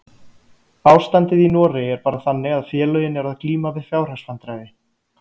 Ástandið í Noregi er bara þannig að félögin eru að glíma við fjárhagsvandræði.